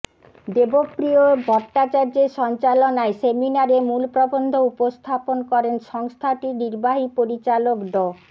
দেবপ্রিয় ভট্টাচার্যের সঞ্চালনায় সেমিনারে মূল প্রবন্ধ উপস্থাপন করেন সংস্থাটির নির্বাহী পরিচালক ড